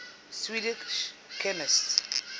swedish chemists